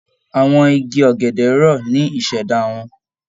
Àwọn igi ọ̀gẹ̀dẹ̀ rọ̀ ní ìṣẹ̀dá wọn